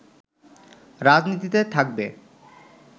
রাজনীতিতে থাকবে